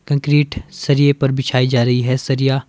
concrete सरिए पर बिछाई जा रही है सरिया--